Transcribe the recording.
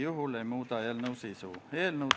Austatud ettekandja, teile küsimusi ei ole.